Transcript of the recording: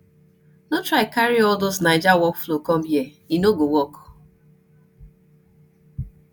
no try carry all those naija workflow com here e no go work